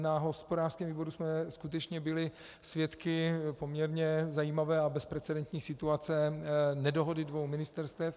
Na hospodářském výboru jsme skutečně byli svědky poměrně zajímavé a bezprecedentní situace nedohody dvou ministerstev.